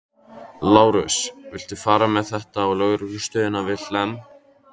Lárus, viltu fara með þetta á lögreglustöðina við Hlemm?